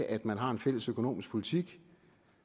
at man har en fælles økonomisk politik